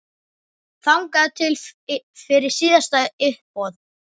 Þangað til fyrir síðasta uppboð.